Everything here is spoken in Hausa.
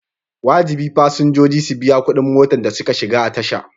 Wajibi fasinjoji su biya kuɗin motar da suka shiga a tasha.